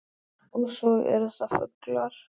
Og svo eru það fuglar